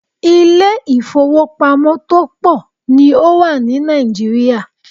Ilé ìfọwọ́pamo tó pọ̀ ní o wà ní Nàìjíríà.